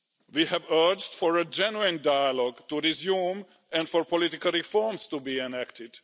We have urged for a genuine dialogue to be resumed and for political reforms to be enacted.